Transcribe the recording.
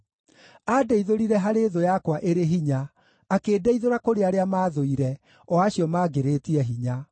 Andeithũrire harĩ thũ yakwa ĩrĩ hinya, akĩndeithũra kũrĩ arĩa maathũire, o acio maangĩrĩtie hinya.